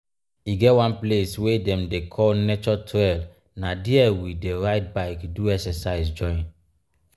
e get one place wey dem dey call nature trail na dia we dey ride bike do excercise join.